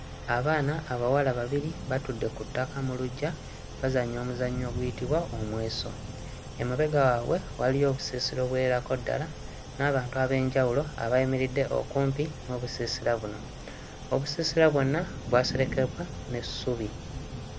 Abaana abawala babiri batudde ku ttaka mu luggya bazannya omuzannyo oguyitibwa omweso, emabega waabwe waliyo obusiisira obuwererako ddala n'abantu ab'enjawulo abayimiridde okumpi n'obusiisira buno; obusiisira bwonna bwaserekebwa n'essubi.